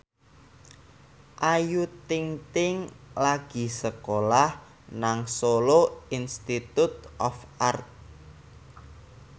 Ayu Ting ting lagi sekolah nang Solo Institute of Art